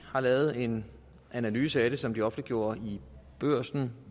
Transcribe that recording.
har lavet en analyse af det som de offentliggjorde i børsen